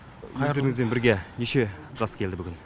қайырлы күн өздеріңізбен бірге неше жас келді бүгін